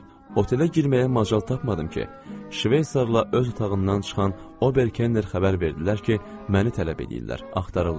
Otelə girməyə macal tapmadım ki, İsveçrla öz otağından çıxan Ober Kenner xəbər verdilər ki, məni tələb edirlər, axtarırlar.